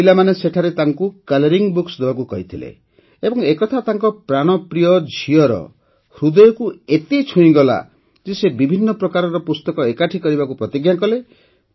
ପିଲାମାନେ ସେଠାରେ ତାଙ୍କୁ କଲରିଂବୁକ୍ସ ଦେବାକୁ କହିଥିଲେ ଏବଂ ଏକଥା ତାଙ୍କ ପ୍ରାଣପ୍ରିୟ ଝିଅର ହୃଦୟକୁ ଏତେ ଛୁଇଁଗଲା ଯେ ସେ ବିଭିନ୍ନ ପ୍ରକାରର ପୁସ୍ତକ ଏକାଠି କରିବାକୁ ପ୍ରତିଜ୍ଞା କଲେ